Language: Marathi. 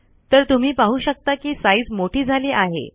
तर तुम्ही पाहू शकता कि साइज मोठी झाली आहे